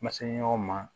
N ma se ɲɔgɔn ma